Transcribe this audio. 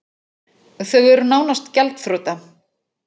Þau eru nánast gjaldþrota